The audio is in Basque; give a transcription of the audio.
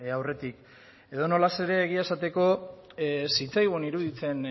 aurretik edonola ere egia esateko ez zitzaigun iruditzen